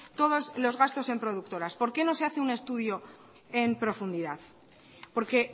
todos los gastos en productoras por qué no se hace un estudio en profundidad porque